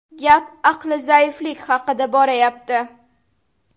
Gap aqli zaiflik haqida borayapti.